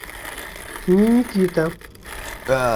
ниникита